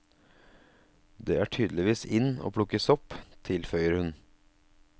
Det er tydeligvis in å plukke sopp, tilføyer hun.